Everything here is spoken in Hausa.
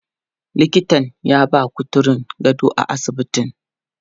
Likitan ya ba kuturun gado a asibitin.